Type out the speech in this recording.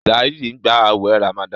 Saheed ń gbà awé ramadan.